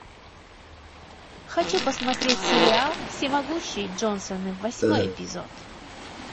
хочу посмотреть сериал всемогущие джонсоны восьмой эпизод